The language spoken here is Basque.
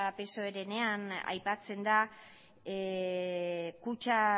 psoerenean aipatzen da kutxa